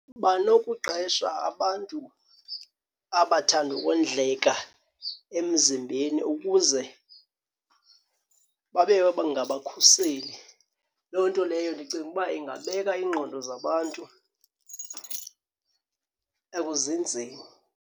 Banokuqesha abantu abathanda ukondleka emzimbeni ukuze babe ngabakhuseli. Loo nto leyo ndicinga uba ingabeka ingqondo zabantu ekuzinzeni.